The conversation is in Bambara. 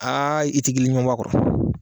Aa i ti giliɲuman bɛ a kɔrɔ.